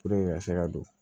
ka se ka don